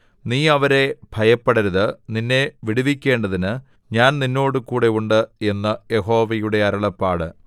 നീ അവരെ ഭയപ്പെടരുത് നിന്നെ വിടുവിക്കേണ്ടതിന് ഞാൻ നിന്നോടുകൂടെ ഉണ്ട് എന്ന് യഹോവയുടെ അരുളപ്പാട്